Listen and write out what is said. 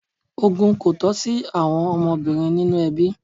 Ogún kò tọ́ sí àwọn ọmọbìnrin nínu ẹbí.